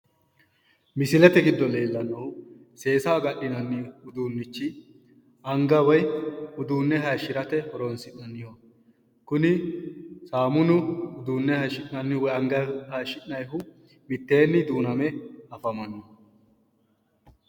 Misilete giddo leellannohu seesaho ga'ninanni uduunnichi anga woyi uduunne hayishirate horoonsi'nanniho kuni saamunu uduunne hayishi'nanni woyi anga hayishi'nayihu mitteenni duuname afamanno